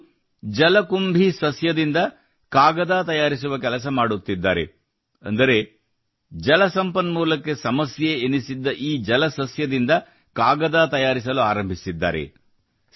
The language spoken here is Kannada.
ಇವರು ಜಲಕುಂಭಿ ಸಸ್ಯದಿಂದ ಕಾಗದ ತಯಾರಿಸುವ ಕೆಲಸ ಮಾಡುತ್ತಿದ್ದಾರೆ ಅಂದರೆ ಜಲ ಸಂಪನ್ಮೂಲಕ್ಕೆ ಸಮಸ್ಯೆ ಎನಿಸಿದ್ದ ಈ ಜಲಸಸ್ಯದಿಂದ ಕಾಗದ ತಯಾರಿಸಲು ಆರಂಭಿಸಿದ್ದಾರೆ